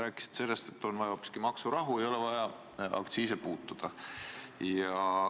Ja nad arvavad, et on vaja hoopiski maksurahu ja pole vaja aktsiise puutuda?